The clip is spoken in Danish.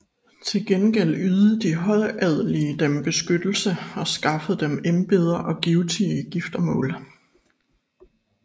Til gengæld ydede de højadelige dem beskyttelse og skaffede dem embeder og givtige giftermål